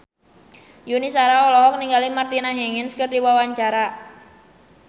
Yuni Shara olohok ningali Martina Hingis keur diwawancara